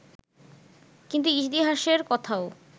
কিন্তু ইতিহাসের কোথাও